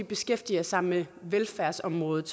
beskæftiger sig med velfærdsområdet